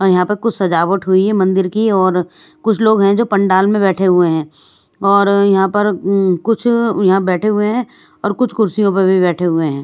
और यहाँ पर कुछ सजावट हुई है मंदिर की और कुछ लोग हैं जो पंडाल में बैठे हुए हैं और यहाँ पर मम कुछ यहाँ बैठे हुए हैं और कुछ कुर्सियों पर भी बैठे हुए हैं ।